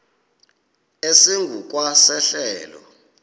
esingu kwa sehlelo